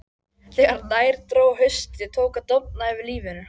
Þegar nær dró hausti tók að dofna yfir lífinu.